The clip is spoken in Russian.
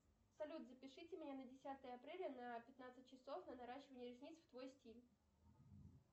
салют запишите меня на десятое апреля на пятнадцать часов на наращивание ресниц в твой стиль